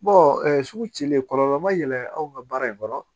sugu cilen kɔlɔlɔ ma yɛlɛ anw ka baara in kɔnɔ